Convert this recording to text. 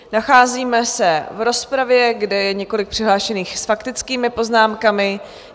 Nacházíme se v rozpravě, kde je několik přihlášených s faktickými poznámkami.